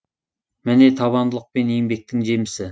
міне табандылық пен еңбектің жемісі